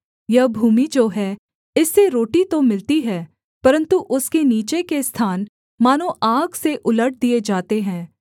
यह भूमि जो है इससे रोटी तो मिलती है परन्तु उसके नीचे के स्थान मानो आग से उलट दिए जाते हैं